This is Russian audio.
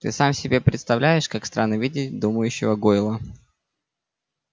ты сам себе представляешь как странно видеть думающего гойла